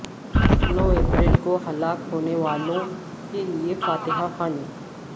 نو April کو ہلاک ہونے والوں کے لیے فاتحہ خوانی